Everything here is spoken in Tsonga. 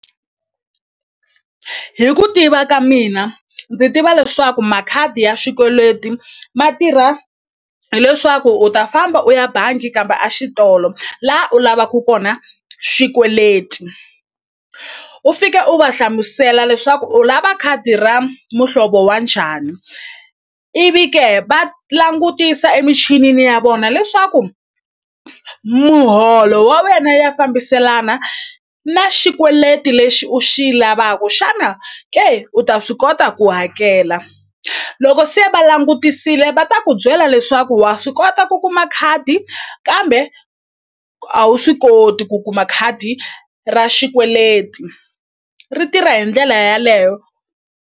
Hi ku tiva ka mina ndzi tiva leswaku makhadi ya xikweleti ma tirha hileswaku u ta famba u ya bangi kambe a xitolo la u lavaku kona xikweleti u fike u va hlamusela leswaku u lava khadi ra muhlovo wa njhani ivi ke va langutisa emichinini ya vona leswaku muholo wa wena ya fambiselana na xikweleti lexi u xi lavaku xana ke u ta swi kota ku hakela loko se va langutisile va ta ku byela leswaku wa swi kota ku kuma khadi kambe a wu swi koti ku kuma khadi ra xikweleti ri tirha hi ndlela yaleyo.